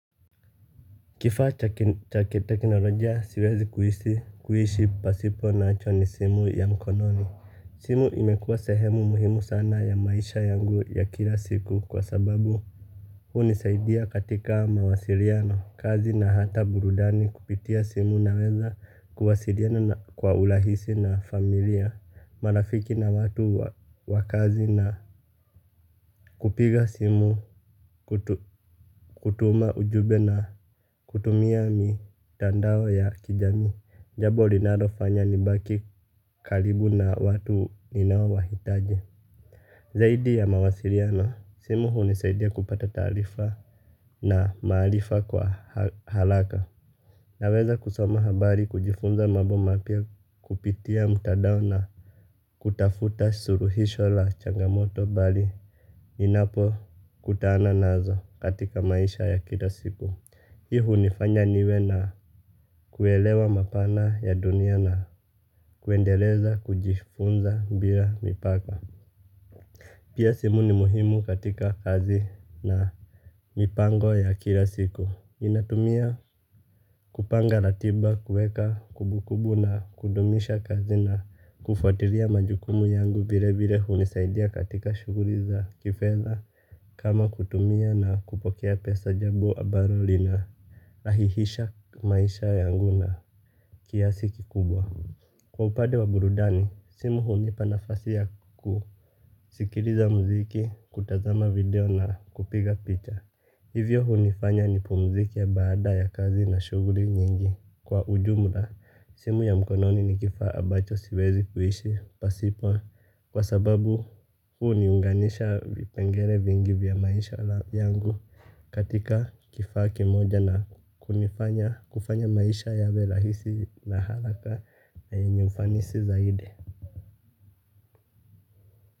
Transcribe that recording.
Kifaa cha kiteknolojia siwezi kuishi pasipo nacho ni simu ya mkononi. Simu imekuwa sehemu muhimu sana ya maisha yangu ya kila siku kwa sababu huni saidia katika mawasiliano kazi na hata burudani kupitia simu naweza kuhasiriana kwa urahisi na familia. Marafiki na watu wa kazi na kupiga simu kutuma ujumbe na kutumia mitandao ya kijamii. Jambo linalofanya nibaki karibu na watu ninao wahitaji. Zaidi ya mawasiliana simu hunisaidia kupata taarifa na maarifa kwa haraka. Naweza kusoma habari kujifunza mambo mapya kupitia mtandao na kutafuta suluhisho la changamoto bali ninapo kutana nazo katika maisha ya kila siku hii hunifanya niwe na kuelewa mapana ya dunia na kuendeleza kujifunza bila mipaka. Pia simu ni muhimu katika kazi na mipango ya kila siku. Ninatumia kupanga ratiba kueka kumbukumbu na kudumisha kazi na kufuatilia majukumu yangu vile vile hunisaidia katika shughuli za kifedha. Kama kutumia na kupokea pesa jambo ambalo lina rahihisha maisha yangu na kiasi ki kubwa. Kwa upande wa burudani, simu hunipa nafasi ya kusikiliza muziki, kutazama video na kupiga picha. Hivyo hunifanya nipumzike baada ya kazi na shughuli nyingi. Kwa ujumla, simu ya mkononi ni kifaa ambacho siwezi kuishi pasipo. Kwa sababu huu niunganisha vipengele vingi vya maisha yangu katika kifaa ki moja na kufanya maisha yawe rahisi na haraka na yenye ufanisi zaidi.